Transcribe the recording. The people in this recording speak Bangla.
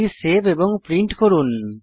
এটি সেভ এবং প্রিন্ট করুন